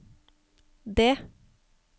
D